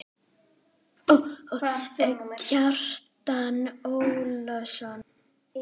Kjartan Ólason